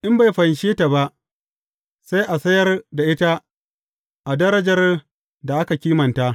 In bai fanshe ta ba, sai a sayar da ita a darajar da aka kimanta.